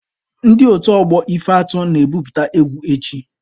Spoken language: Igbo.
Ndị otu ọgbọ ife atụ na-ebupute egwu echi.